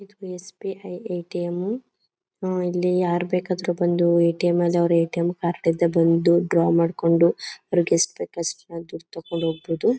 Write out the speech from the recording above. ಇದು SBI ATM ಉ. ಹ ಇಲ್ಲಿ ಯಾರು ಬೇಕಾದ್ರು ಬಂದು ಏಟಿಎಂ ಅಲ್ಲಿ ಅವರ ಏಟಿಎಂ ಕಾರ್ಡ್ ಇಂದ ಬಂದು ಡ್ರಾ ಮಾಡ್ಕೊಂಡು ಅವ್ರಿಗೆ ಎಷ್ಟು ಬೇಕಾದಷ್ಟು ದುಡ್ಡು ತಗೊಂಡು ಹೋಗ್ಬಹುದು.